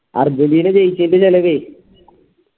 Argentina ജയിച്ചയിച്ചിൻറെ ചെലവേ